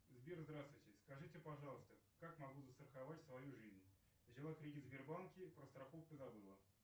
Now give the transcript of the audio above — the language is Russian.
сбер здравствуйте скажите пожалуйста как могу застраховать свою жизнь взяла кредит в сбербанке про страховку забыла